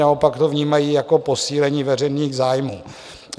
Naopak to vnímají jako posílení veřejných zájmů.